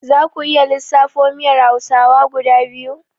Zaku iya lissafo miyar hausawa guda biyu?